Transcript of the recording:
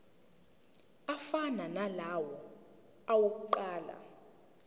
afana nalawo awokuqala